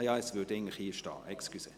Entschuldigung, das steht ja hier.